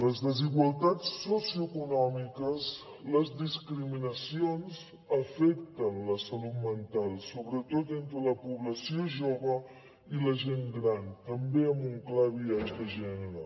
les desigualtats socioeconòmiques les discriminacions afecten la salut mental sobretot entre la població jove i la gent gran també amb un clar biaix de gènere